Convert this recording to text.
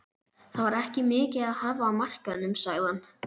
Það var ekki mikið að hafa á markaðnum sagði hann.